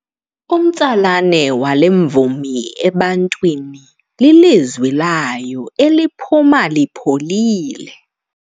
Umtsalane wale mvumi ebantwini lilizwi layo eliphuma lipholile.